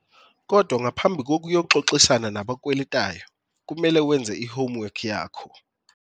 Kodwa ngaphambi kokuyoxoxisana nobakweletayo kumele wenze i-homework yakho.